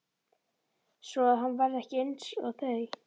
Svoað hann verði ekki einsog þau.